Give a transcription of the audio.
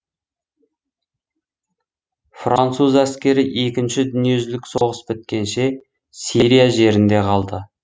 француз әскері екінші дүниежүзілік соғыс біткенше сирия жерінде қалды